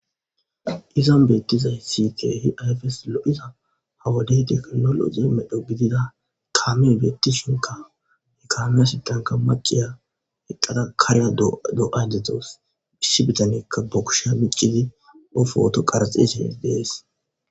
izan beettizay siyte hi ayfes lo7iza hawadey teknologi medho gidida kaame beetti shinka hi kaamiya sitanka maqiya eqqada karya do7ay dezdzoos bish bidanekka bokusha miccidi ofooto qarxise dees